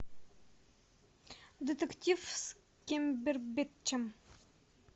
детектив с камбербэтчем